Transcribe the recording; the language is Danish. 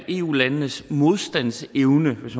eu landenes modstandsevne hvis